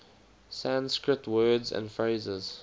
sanskrit words and phrases